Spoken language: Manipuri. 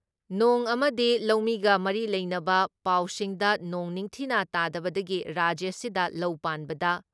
ꯅꯣꯡ ꯑꯃꯗꯤ ꯂꯧꯃꯤꯒ ꯃꯔꯤ ꯂꯩꯅꯕ ꯄꯥꯎꯁꯤꯡꯗ ꯅꯣꯡ ꯅꯤꯡꯊꯤꯅ ꯇꯥꯗꯕꯗꯒꯤ ꯔꯥꯖ꯭ꯌꯁꯤꯗ ꯂꯧ ꯄꯥꯟꯕꯗ